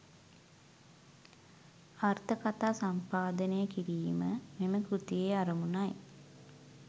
අර්ථ කථා සම්පාදනය කිරීම මෙම කෘතියේ අරමුණ යි.